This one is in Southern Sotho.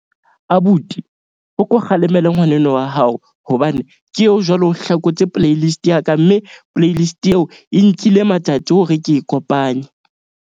Abuti o ko kgalemela ngwaneno wa hao hobane ke eo, jwale o hlakotse playlist ya ka. Mme playlist eo e nkile matsatsi hore ke e kopanye.